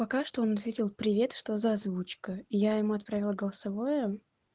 пока что он ответил привет что за озвучка я ему отправила голосовое